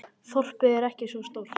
Þorpið er ekki svo stórt.